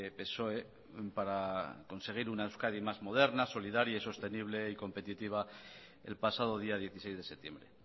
psoe para conseguir una euskadi más moderna solidaria y sostenible y competitiva el pasado día dieciséis de septiembre